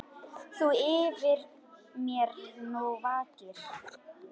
Þú yfir mér nú vakir.